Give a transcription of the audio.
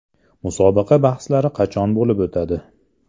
Musobaqa bahslari qachon bo‘lib o‘tadi?